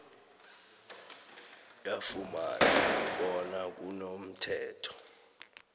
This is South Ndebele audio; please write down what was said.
yafumana bona kunomthetho